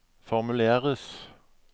formuleres